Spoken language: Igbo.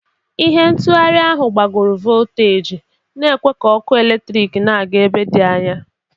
Ihe ntụgharị ahụ gbagoro voltaji, na-ekwe ka ọkụ eletrik na-aga ebe dị anya.